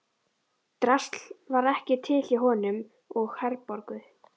Drasl var ekki til hjá honum og Herborgu.